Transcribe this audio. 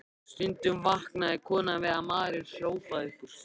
Stundum vaknaði konan við að maðurinn hrópaði upp úr svefni